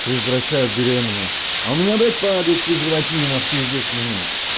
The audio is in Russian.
предотвращает беременность а у меня блять падает в презервативе нахуй через десять минут